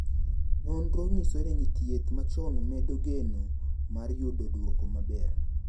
Nonro nyiso ni thieth machon medo geno mar yudo duoko maber.